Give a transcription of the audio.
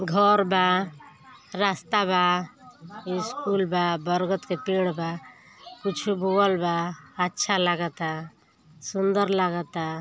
घर बा रास्ता बा स्कूल बा बरगद के पेड़ बा कुछु बोअल् बा अच्छा लागा ता सुन्दर लागा ता।